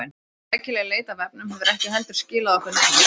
Rækileg leit á vefnum hefur ekki heldur skilað okkur neinu.